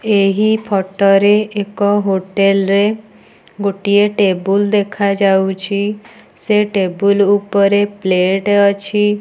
ଏହି ଫଟ ରେ ଏକ ହୋଟେଲ ରେ ଗୋଟିଏ ଟେବୁଲ୍ ଦେଖାଯାଉଛି। ସେ ଟେବୁଲ୍ ଉପରେ ପ୍ଲେଟ୍ ଅଛି।